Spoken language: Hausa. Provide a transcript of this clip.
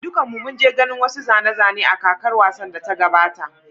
Dukanmu mun je ganin wasu zane-zane a kakar wasan da ta gabata.